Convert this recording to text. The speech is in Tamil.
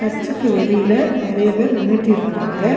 இச்சுக்கு வெளியில நெறைய பேர் நின்னுட்டு இருக்கறாங்க.